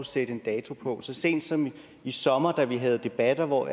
sætte en dato på så sent som i sommer da vi havde debatter hvor